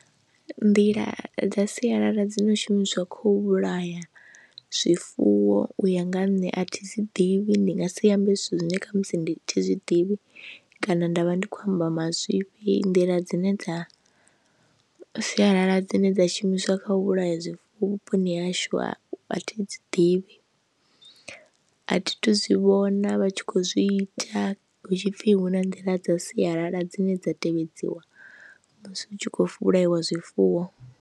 Nḓila dza sialala dzi no shumiswa kho u vhulaya zwifuwo u ya nga ha nṋe athi dzi ḓivhi ndi nga si ambe zwithu zwine kha musi ndi thi zwiḓivhi kana nda vha ndi khou amba mazwifhi, nḓila dzine dza sialala dzine dza shumiswa kha u vhulaya zwi vhuponi hashu a athi dzi ḓivhi, a thi tu zwi vhona vha tshi kho zwi ita hutshipfi hu na nḓila dza sialala dzine dza tevhedziwa musi hu tshi khou vhulaiwa zwifuwo.